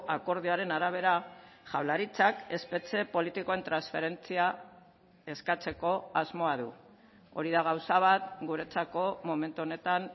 akordioaren arabera jaurlaritzak espetxe politikoen transferentzia eskatzeko asmoa du hori da gauza bat guretzako momentu honetan